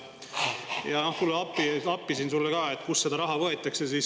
Ja et tulla appi,, kust see raha võetaks.